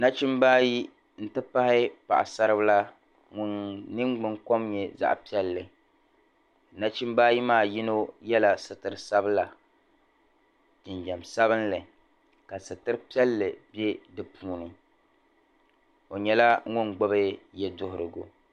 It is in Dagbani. Nachimba ayi n-ti pahi paɣasar'bila ŋun ningbun'kom nye zaɣ'piɛlli nachimba ayi maa yino yɛla sitir'sabila jinjam sabinli ka sitir'piɛlli be di puuni o nyɛla ŋun gbubi yeduhurigu.